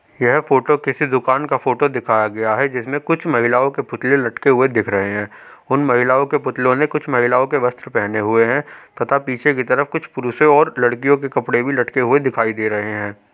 यह फोटो किसी दुकान का फोटो दिखाया गया है जिसमें कुछ महिलाओं के पुतले लटके हुए दिख रहे हैं। उन महिलाओं के पुतलों ने कुछ महिलाओं के वस्त्र पेहने हुए हैं तथा पीछे की तरफ कुछ पुरुषें और लड़कियों के कपड़े भी लटके दिखाई दे रहे हैं।